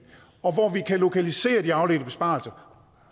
og hvor vi kan lokalisere de afledte besparelser